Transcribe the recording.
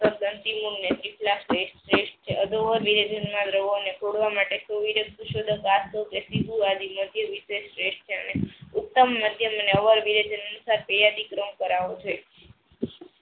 તોડવા માટે શ્રેષ્ઠ છે ઉત્તમ મધ્યમ પેયડી કરમ કરવો છે.